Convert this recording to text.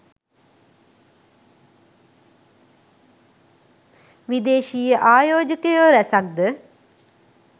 විදේශීය ආයෝජකයෝ රැසක් ද